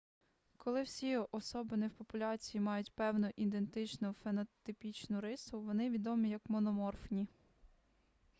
коли всі особини в популяції мають певну ідентичну фенотипічну рису вони відомі як мономорфні